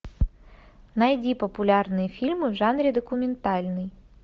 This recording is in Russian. найди популярные фильмы в жанре документальный